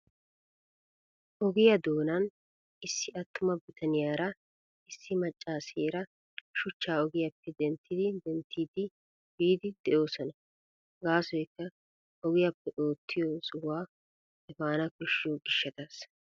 Ogiya doonan issi attuma bitaniyara issi maccaaseera shuchchaa ogiyappe dentti denttidi efiiddi de'oosona. Gaasoykka ogiyappe oottiyo sohuwa efaana koshshiyo gishshataassa.